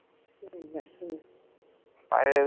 ഇല്ല ഹും